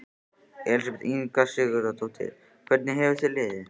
Elísabet Inga Sigurðardóttir: Hvernig hefur þér liðið?